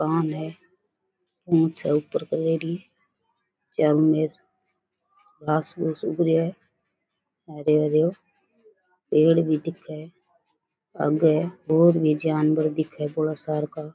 कान है पूंछ है ऊपर क्रेडी चारो मेर घास पूस उग रेहो है हरे हरे पेड़ भी दिखे है आगे और भी जानवर दिखे बडा सार का।